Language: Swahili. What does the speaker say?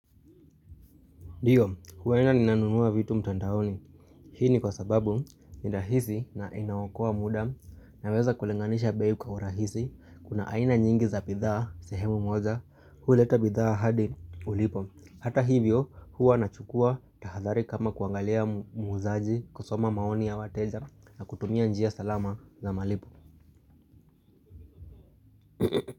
Ndio, huwa ninanunua vitu mtandaoni. Hii ni kwa sababu ni rahisi na inawaokoa muda naweza kulinganisha bei kwa urahisi. Kuna aina nyingi za bidhaa, sehemu moja, huleta bidhaa hadi ulipo. Hata hivyo, huwa nachukua tahadhari kama kuangalia muuzaji kusoma maoni ya wateja na kutumia njia salama za malipo.